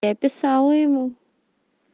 я писала ему